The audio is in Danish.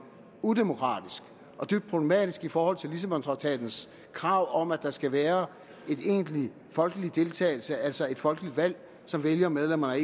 udemokratisk og dybt problematisk i forhold til lissabontraktatens krav om at der skal være en egentlig folkelig deltagelse altså et folkeligt valg som vælger medlemmerne af